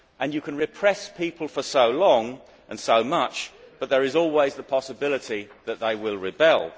And you can repress people for so long and so much, but there is always the possibility that they will rebel.